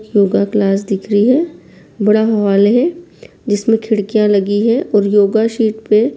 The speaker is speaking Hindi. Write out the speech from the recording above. योगा क्लास दिख रही है बड़ा हॉल है। जिसमें खिड़कियां लगी हैं और योगा शीट पे --